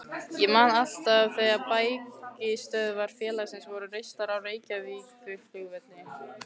Ég man alltaf þegar bækistöðvar félagsins voru reistar á Reykjavíkurflugvelli.